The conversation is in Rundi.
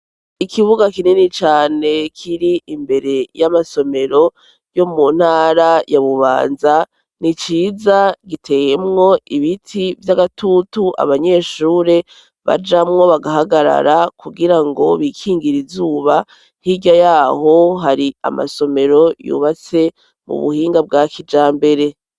ikibuga kinini cane kiri imbere y'amasomero yo mu ntara ya bubanza niciza giteyemwo ibiti vy'agatutu abanyeshure bajamwo bagahagarara kugira ngo bikingira izuba hirya yaho hari amasomero yubatse mu buhinga bwa kijambere